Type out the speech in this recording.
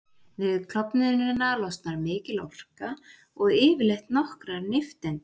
Við klofnunina losnar mikil orka og yfirleitt nokkrar nifteindir.